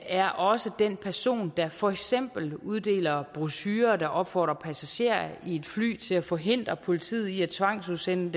er også den person der for eksempel uddeler brochurer der opfordrer passagerer i et fly til at forhindre politiet i at tvangsudsende